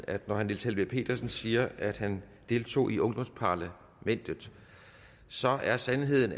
at når herre niels helveg petersen siger at han deltog i ungdomsparlamentet så er sandheden